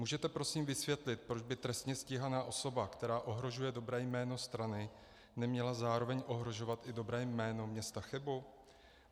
Můžete prosím vysvětlit, proč by trestně stíhaná osoba, která ohrožuje dobré jméno strany, neměla zároveň ohrožovat i dobré jméno města Chebu?